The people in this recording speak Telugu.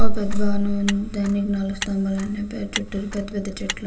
ఒక పెద్ద ద్వారం ఉంది. దానికి నాలుగు స్తంభాలు ఉన్నాయి. చుట్టూతా పెద్ద పెద్ద చెట్లు--